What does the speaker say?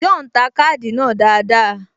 John ta káàdì náà dáadáa